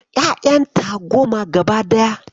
Ƴayanta goma gaba daya.